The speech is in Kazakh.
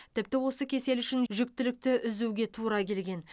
тіпті осы кеселі үшін жүктілікті үзуге тура келген